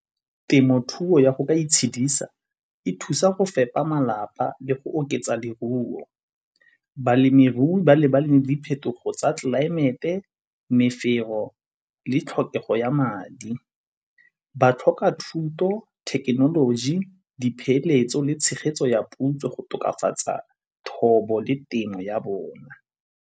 Temothuo ya go ka itshedisa e thusa go fepa malapa le go oketsa leruo. Balemirui ba lebale le diphetogo tsa tlelaemete, mefero le tlhokego ya madi. Ba tlhoka thuto, thekenoloji dipeeletso le tshegetso ya puo go tokafatsa thobo le temo ya bona.